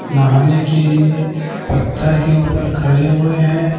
नहाने के लिए पत्थर के ऊपर खड़े हुए हैं।